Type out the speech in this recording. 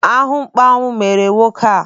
Ahụmkpọnwụ mere nwoke ahụ.